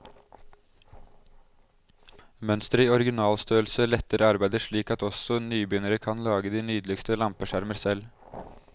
Mønsteret i originalstørrelse letter arbeidet slik at også nybegynnere kan lage de nydeligste lampeskjermer selv.